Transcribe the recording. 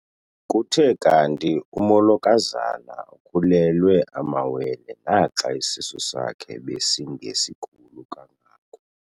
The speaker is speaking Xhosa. Kuthe kanti umolokazana ukhulelwe amawele naxa isisu sakhe besingesikhulu kangako.